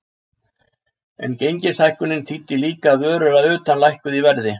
En gengishækkunin þýddi líka að vörur að utan lækkuðu í verði.